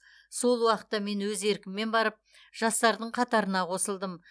сол уақытта мен өз еркіммен барып жастардың қатарына қосылдым